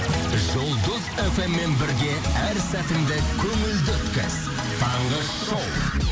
жұлдыз эф эм мен бірге әр сәтіңді көңілді өткіз таңғы шоу